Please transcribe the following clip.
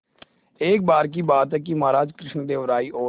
एक बार की बात है कि महाराज कृष्णदेव राय और